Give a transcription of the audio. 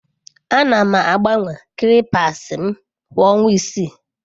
Ana m agbanwe clippers m kwa ọnwa isii.